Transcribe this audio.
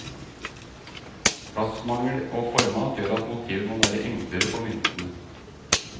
Plassmangel og format gjør at motivet må være enklere på myntene.